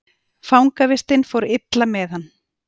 Fangavistin fór illa með hann.